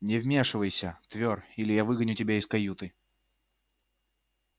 не вмешивайся твёр или я выгоню тебя из каюты